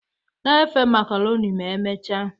Na-efe macaroni ma emechaa